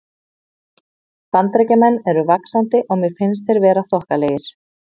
Bandaríkjamenn eru vaxandi og mér finnst þeir vera þokkalegir.